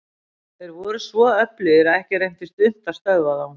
Þeir voru svo öflugir að ekki reyndist unnt að stöðva þá.